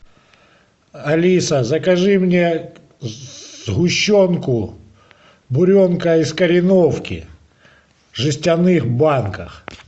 алиса закажи мне сгущенку буренка из кореновки в жестяных банках